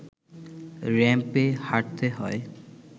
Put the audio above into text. র‌্যাম্পে হাঁটতে হয়